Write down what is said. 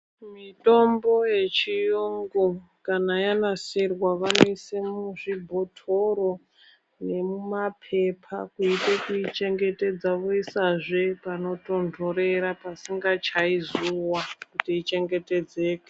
Mitombo yechiyungu kana yanasirwa vanoise muzvibhotori nemumapepa kuite kuichengetedza voisazve panotontorera pasingachayi zuwa kuti ichengetedzeke.